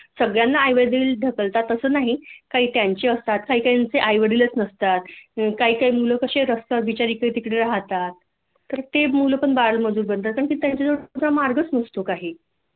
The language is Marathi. सगळ्यांना आईवडील ढकलतात अस नाही काही काहींचे असतात काही काहींचे आईवडीलच नसतात मग काही काही मुल कशी असतात बिचारी इकड तिकड राहतात ते मुल पण बालमजूर बनतात आणि त्यांच्याजवळ मार्गच नसतो काही